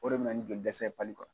O de bɛna ni jɔlidɛsɛ ye pali kɔnɔ.